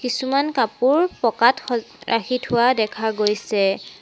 কিছুমান কাপোৰ পকাত স ৰাখি থোৱা দেখা গৈছে।